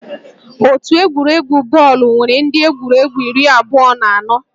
Otu egwuregwu bọọlụ nwere ndị egwuregwu iri abụọ na anọ